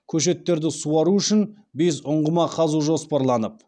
көшеттерді суару үшін бес ұңғыма қазу жоспарланып